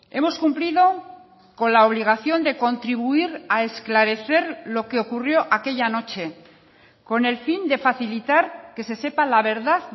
hemos cumplido con la obligación de contribuir a esclarecer lo que ocurrió aquella noche con el fin de facilitar que se sepa la verdad